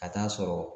Ka taa'a sɔrɔ